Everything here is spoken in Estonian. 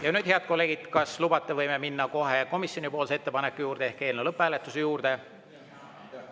Ja nüüd, head kolleegid, kas lubate, võime minna kohe komisjoni ettepaneku juurde ehk eelnõu lõpphääletuse juurde?